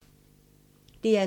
DR2